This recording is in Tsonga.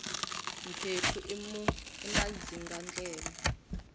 mphephu i madzingandleve